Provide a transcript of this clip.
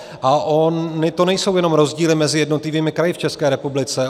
A ony to nejsou jenom rozdíly mezi jednotlivými kraji v České republice.